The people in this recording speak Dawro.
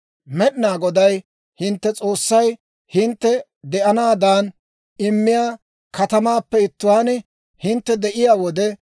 «Med'inaa Goday hintte S'oossay hintte de'anaadan immiyaa katamaappe ittuwaan hintte de'iyaa wode,